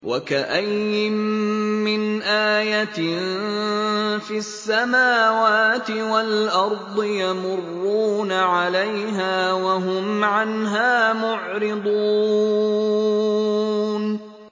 وَكَأَيِّن مِّنْ آيَةٍ فِي السَّمَاوَاتِ وَالْأَرْضِ يَمُرُّونَ عَلَيْهَا وَهُمْ عَنْهَا مُعْرِضُونَ